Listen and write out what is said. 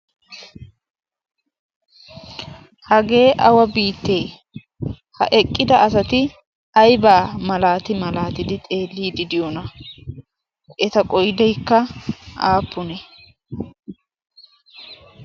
hagee awa biittee ha eqqida asati aybaa malaati malaatidi xeellii didiyoona eta qodaykka aappune?